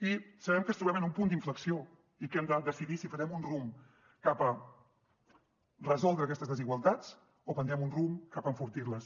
i sabem que ens trobem en un punt d’inflexió i que hem de decidir si farem un rumb cap a resoldre aquestes desigualtats o prendrem un rumb cap a enfortir les